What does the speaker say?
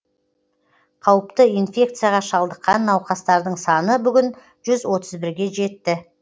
қауіпті инфекцияға шалдыққан науқастардың саны бүгін жүз отыз бірге жетті